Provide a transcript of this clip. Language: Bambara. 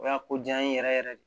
O y'a ko ja n ye yɛrɛ yɛrɛ de